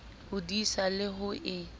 ho disa le ho e